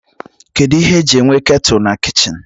Kedụ ihe e ji enwe ketụl na kichin?